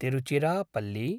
Tiruchirappalli